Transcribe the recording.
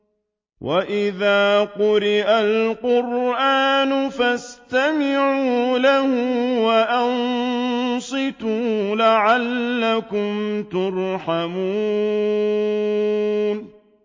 وَإِذَا قُرِئَ الْقُرْآنُ فَاسْتَمِعُوا لَهُ وَأَنصِتُوا لَعَلَّكُمْ تُرْحَمُونَ